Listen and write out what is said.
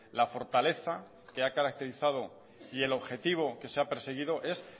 la fortaleza que ha caracterizado y el objetivo que se ha perseguido es